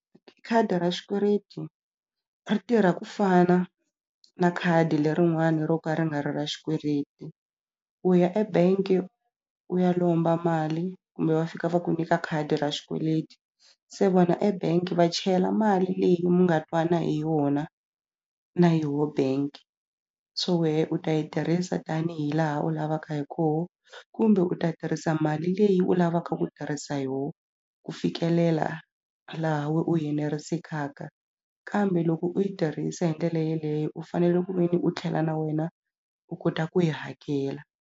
Khadi ra xikweleti ri tirha ku fana na khadi lerin'wani ro ka ri nga ri ra xikweleti u ya ebank-e u ya lomba mali kumbe va fika va ku nyika khadi ra xikweleti se vona ebank-i va chela mali leyi mi nga twana hi yona na yoho bank so wehe u ta yi tirhisa tanihi laha u lavaka hi koho kumbe u ta tirhisa mali leyi u lavaka ku tirhisa yoho ku fikelela laha we u yenerisekaka kambe loko u yi tirhisa hi ndlela yeleyo u fanele ku ve ni u tlhela na wena u kota ku yi hakela.